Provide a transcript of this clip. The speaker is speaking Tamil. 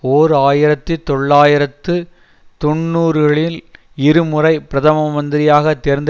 ஓர் ஆயிரத்தி தொள்ளாயிரத்து தொன்னூறுகளில் இரு முறை பிரதம மந்திரியாகத் தேர்ந்து